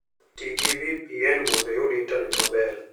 Ti gi VPN mondo iyud intanet maber.